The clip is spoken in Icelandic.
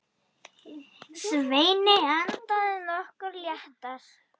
Svenni andað nokkru léttar.